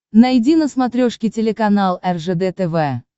найди на смотрешке телеканал ржд тв